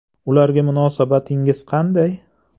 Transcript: Ularga munosabatingiz qanday?